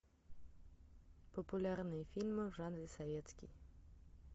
популярные фильмы в жанре советский